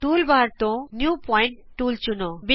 toolbar ਤੋਂ new point tool ਚੁਣੋ